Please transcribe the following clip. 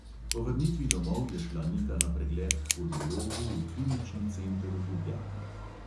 Po vrnitvi domov je šla nika na pregled k pulmologu v klinični center v ljubljani.